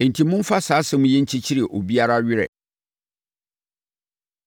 Enti, momfa saa asɛm yi nkyekyere obiara werɛ.